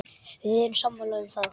Við erum sammála um það.